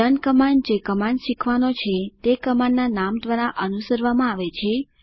learn command જે command શીખવાનો છે તે કમાન્ડના નામ દ્વારા અનુસરવામાં આવે છે